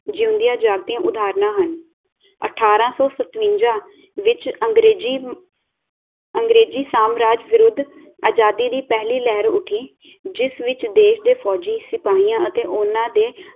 ਜਿਉਂਦਿਆਂ ਜਾਗਦਿਆਂ ਉਧਾਹਰਨਾਂ ਹਨ ਅਠਾਰਾਂ ਸੌ ਸਤਵੰਜਾ ਵਿਚ ਅੰਗਰੇਜ਼ੀ ਅੰਗਰੇਜ਼ੀ ਸਾਮਰਾਜ ਵਿਰੁੱਧ ਆਜ਼ਾਦੀ ਦੀ ਪਹਿਲੀ ਲਹਿਰ ਉੱਠੀ ਜਿਸ ਵਿਚ ਦੇਸ਼ ਦੇ ਫੌਜ਼ੀ ਸਿਪਾਹੀਆਂ ਅਤੇ ਉਨ੍ਹਾਂ ਦੇ